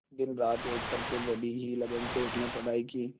दिनरात एक करके बड़ी ही लगन से उसने पढ़ाई की